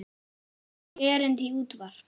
Einnig erindi í útvarp.